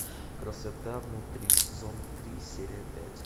красота внутри сезон три серия пять